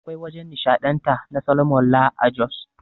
Akwai wajan nishaɗanta na Soloman Lar a Jos